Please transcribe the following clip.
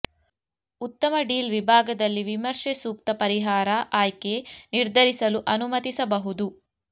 ಉತ್ತಮ ಡೀಲ್ ವಿಭಾಗದಲ್ಲಿ ವಿಮರ್ಶೆ ಸೂಕ್ತ ಪರಿಹಾರ ಆಯ್ಕೆ ನಿರ್ಧರಿಸಲು ಅನುಮತಿಸಬಹುದು